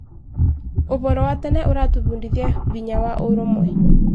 ũhoro wa tene ũratũbundithiahinya wa ũrũmwe.